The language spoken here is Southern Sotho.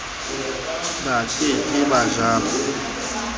ba ke ke ba jala